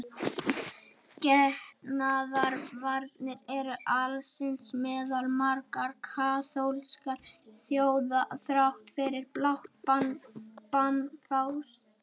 Getnaðarvarnir eru alsiða meðal margra kaþólskra þjóða þrátt fyrir blátt bann páfans.